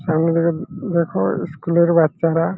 সামনে থাকে দ্যাখো স্কুল -এর বাচ্চারা।